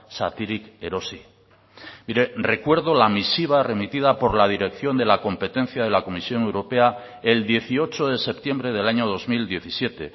zatirik erosi mire recuerdo la misiva remitida por la dirección de la competencia de la comisión europea el dieciocho de septiembre del año dos mil diecisiete